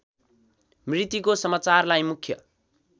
मृत्युको समाचारलाई मुख्य